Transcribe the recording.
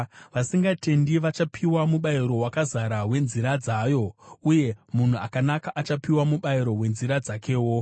Vasingatendi vachapiwa mubayiro wakazara wenzira dzavo, uye munhu akanaka achapiwa mubayiro wenzira dzakewo.